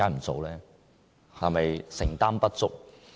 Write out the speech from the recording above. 是否承擔不足？